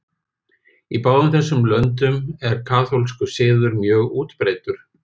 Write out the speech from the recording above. Í báðum þessum löndum er kaþólskur siður mjög útbreiddur.